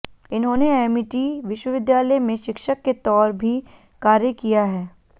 इन्होंने एमिटी विश्वविद्यालय में शिक्षक के तौर भी कार्य किया है